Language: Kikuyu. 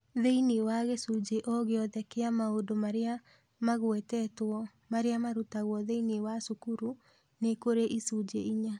Thĩinĩ wa gĩcunjĩ o gĩothe kĩa maũndũ marĩa magwetetwo marĩa marutagwo thĩinĩ wa cukuru, nĩ kũrĩ icunjĩ inya